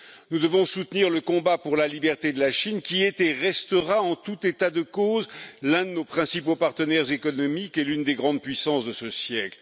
Nous devons soutenir le combat pour la liberté de la Chine qui est et restera, en tout état de cause, l'un de nos principaux partenaires économiques et l'une des grandes puissances de ce siècle.